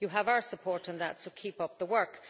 You have our support on that, so keep up the work.